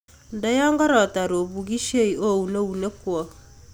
ndoo taran opukisei ooun eunekwok